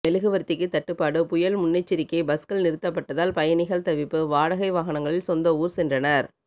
மெழுகுவர்த்திக்கு தட்டுப்பாடு புயல் முன்னெச்சரிக்கை பஸ்கள் நிறுத்தப்பட்டதால் பயணிகள் தவிப்பு வாடகை வாகனங்களில் சொந்த ஊர் சென்றனர்